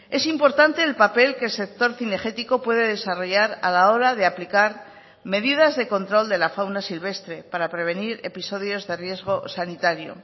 es importante el papel que el sector cinegético puede desarrollar a la hora de aplicar medidas de control de la fauna silvestre para prevenir episodios de riesgo sanitario